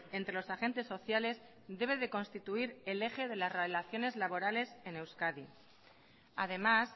entre los agentes sociales debe de constituir el eje de las relaciones laborales en euskadi además